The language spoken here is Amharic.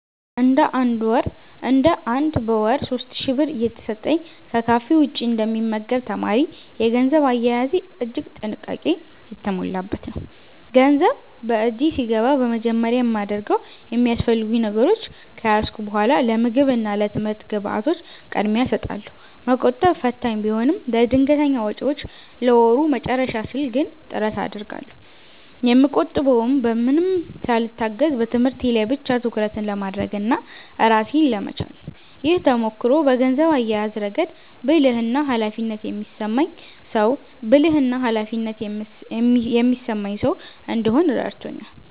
እንደ አንድ በወር 3,000 ብር እየተሰጠኝ ከካፌ ውጭ እንደ ሚመገብ ተማሪ፤ የገንዘብ አያያዜ እጅግ ጥንቃቄ የተሞላበት ነው። ገንዘብ በእጄ ሲገባ በመጀመሪያ የማደርገው የሚያስፈልጉኝ ነገሮች ከያዝኩ በኃላ ለምግብ እና ለትምህርት ግብዓቶች ቅድሚያ እሰጣለሁ። መቆጠብ ፈታኝ ቢሆንም፤ ለድንገተኛ ወጪዎችና ለወሩ መጨረሻ ስል ግን ጥረት አደርጋለሁ። የምቆጥበውም በማንም ሳልታገዝ በትምህርቴ ላይ ብቻ ትኩረት ለማድረግና ራሴን ለመቻል ነው። ይህ ተሞክሮ በገንዘብ አያያዝ ረገድ ብልህና ኃላፊነት የሚሰማኝ ሰው እንድሆን ረድቶኛል።